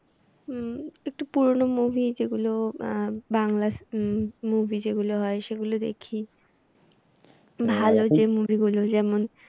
হুম একটু পুরোনো movie যেগুলো আহ বাংলা হম movie যেগুলো হয় সেগুলো দেখি। ভালো যে movie গুলো যেমন।